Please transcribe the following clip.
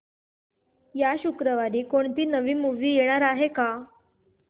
या शुक्रवारी कोणती नवी मूवी येणार आहे का